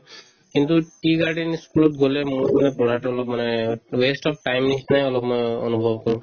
কিন্তু tea garden ই school ত গ'লে মোৰ মানে পঢ়াতো অলপ মানে waste of time নিচিনা অলপ মই অনুভৱ কৰো